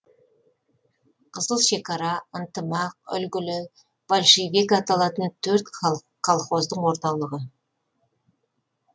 қызыл шекара ынтымақ үлгілі большевик аталатын төрт колхоздың орталығы